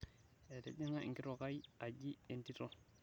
etijinga enkitok ai aji entito